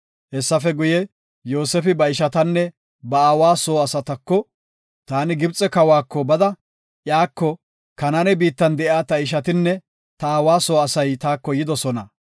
Hessafe guye, Yoosefi ba ishatanne ba aawa soo asatako, “Taani Gibxe kawako bada iyako, ‘Kanaane biittan de7iya ta ishatinne ta aawa soo asay taako yidosona.